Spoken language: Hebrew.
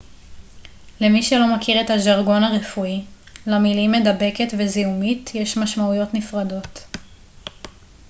למי שלא מכיר את הז'רגון הרפואי למילים מדבקת ו זיהומית יש משמעויות נפרדות